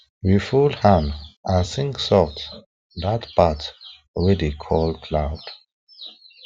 we fold hand and sing soft that part wey dey call cloud